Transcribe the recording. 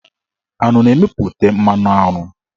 Aṅụ na-emeputa mmanụaṅụ.